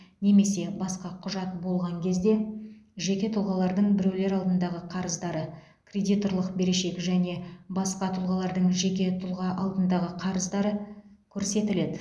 немесе басқа құжат болған кезде жеке тұлғалардың біреулер алдындағы қарыздары кредиторлық берешек және басқа тұлғалардың жеке тұлға алдындағы қарыздары көрсетіледі